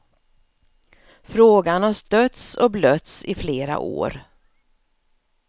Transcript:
Frågan har stötts och blötts i flera år.